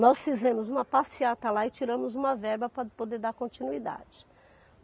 Nós fizemos uma passeata lá e tiramos uma verba para poder dar continuidade.